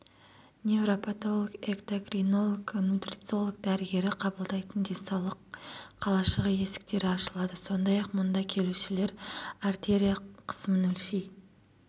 невропатолог экдокринолог нутрициолог дәрігері қабылдайтын денсаулық қалашығы есіктері ашылады сондай-ақ мұнда келушілер артерия қысымын өлшей